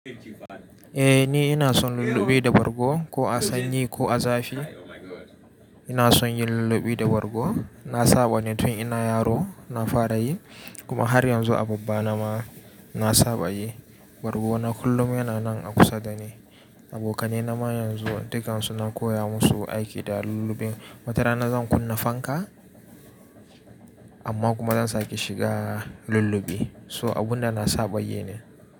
Eh ni ina son lullube da bargo ko a sanyi ko a zafi. Ina son yin lullube da bargo. Na saba ne tun ina yaro na fara yi, kuma har yanzu a babba nama na saba yi. Bargo na kullum yana nan a kusa da ni. Abokanai na ma yanzu dukan su na koya musu aiki da lullubin. Wata rana zan kunna fanka, amma kuma zan sake shiga lullube. So abun da na saba yi ne.